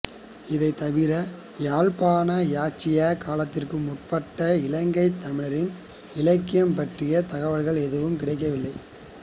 இதைத் தவிர யாழ்ப்பாண இராச்சியக் காலத்துக்கு முற்பட்ட இலங்கைத் தமிழரின் இலக்கியம் பற்றிய தகவல்கள் எதுவும் கிடைக்கவில்லை